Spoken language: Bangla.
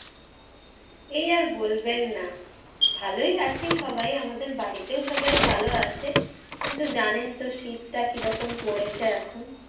এই আর বলবেন না, ভালই আছি সবাই আমাদের বাড়িতেও সবাই ভালো আছে। কিন্তু জানেন তো শীতটা কিরকম পড়েছে এখন।